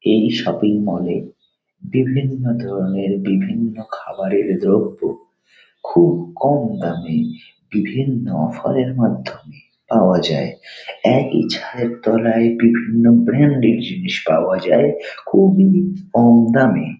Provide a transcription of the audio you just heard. এই শপিং মলে বিভিন্ন ধরণের বিভিন্ন খাবারের দ্রব্য খুব কম দামে বিভিন্ন অফার এর মাধ্যমে পাওয়া যায়. একই ছাদের তলায় বিভিন্ন ব্রান্ডের জিনিস পাওয়া যায় খুবই কম দামে।